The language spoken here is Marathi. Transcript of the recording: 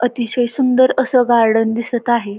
अतिशय सुंदर असं गार्डन दिसत आहे.